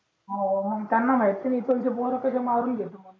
हवं त्यांना माहित हेन इथलंच पोर कस मारून घेते म्हणून